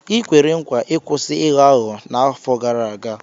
I kwere nkwa ịkwụsị ịghọ aghụghọ n'afọ gara aga.